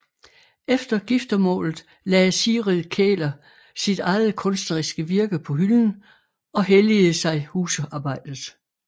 Efter giftermålet lagde Sigrid Kähler sit eget kunstneriske virke på hylden og helligede sig husarbejdet